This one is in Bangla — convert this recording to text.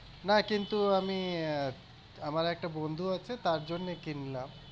না কিন্তু আমি আহ আমার একটা বন্ধু আছে তার জন্যে কিনলাম।